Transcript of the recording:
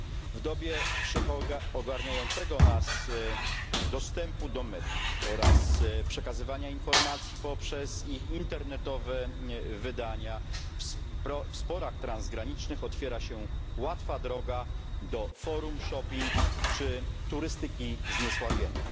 W dobie wszechogarniającego nas dostępu do mediów oraz przekazywania informacji poprzez ich internetowe wydania w sporach transgranicznych otwiera się łatwa droga do forum shopping czy turystyki zniesławienia.